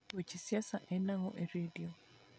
weche siasa en ang'o e redio